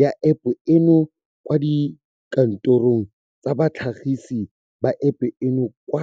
ya App eno kwa dikantorong tsa batlhagisi ba App eno kwa.